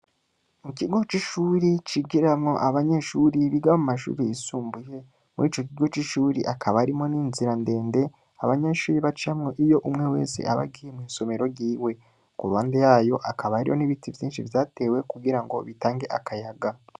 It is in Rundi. Mukigo c'ishure, cigiramwo Abanyeshure Biga Mumashure yisumbuye, Muricokigo c'ishure hakaba hariyo n'Inzira ndende, abanyeshure bacamwo, iyo umwe wese abagiye mwisomero ryiwe, Kuruhande YaYo hakaba hariyo n'Ibiti vyinshi, Vyatewe Kugirango bitange Akayaga.